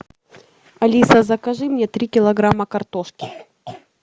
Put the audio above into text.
алиса закажи мне три килограмма картошки